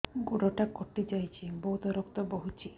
ଗୋଡ଼ଟା କଟି ଯାଇଛି ବହୁତ ରକ୍ତ ବହୁଛି